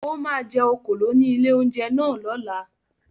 Ó máa jẹ òkòló ní ilé-oúnjẹ náà lọ́la.